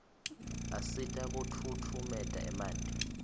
asita kufutfumeta emanti